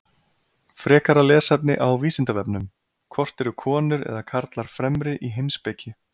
Frekara lesefni á Vísindavefnum: Hvort eru konur eða karlar fremri í heimspeki?